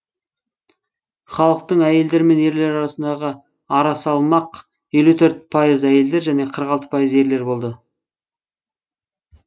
халықтың әйелдер мен ерлер арасындағы арасалмақ елу төрт пайыз әйелдер және қырық алты пайыз ерлер болды